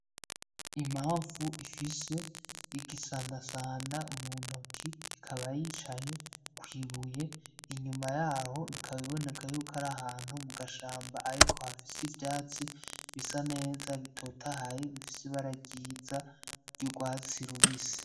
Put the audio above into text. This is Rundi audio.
Imamfu ifise igisandasanda muntoki ikaba yicaye kw'ibuye inyuma yayo bikaba biboneka yukw'arahantu mugashamba ,ariko hafis ivyatsi bisa neza bitotahaye, bifis'ibara ryiza ry'urwatsi rubisi.